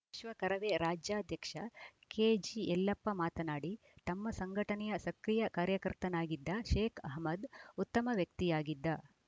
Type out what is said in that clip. ವಿಶ್ವ ಕರವೇ ರಾಜ್ಯಾಧ್ಯಕ್ಷ ಕೆಜಿಯಲ್ಲಪ್ಪ ಮಾತನಾಡಿ ತಮ್ಮ ಸಂಘಟನೆಯ ಸಕ್ರಿಯ ಕಾರ್ಯಕರ್ತನಾಗಿದ್ದ ಶೇಕ್‌ ಅಹಮ್ಮದ್‌ ಉತ್ತಮ ವ್ಯಕ್ತಿಯಾಗಿದ್ದ